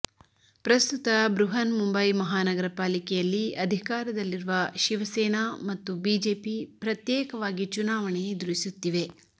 ಪ್ರಸ್ತುತ ಬೃಹನ್ಮುಂಬೈ ಮಹಾನಗರಪಾಲಿಕೆಯಲ್ಲಿ ಅಧಿಕಾರದಲ್ಲಿರುವ ಶಿವಸೇನಾ ಮತ್ತು ಬಿಜೆಪಿ ಪ್ರತ್ಯೇಕವಾಗಿ ಚುನಾವಣೆ ಎದುರಿಸುತ್ತಿವೆ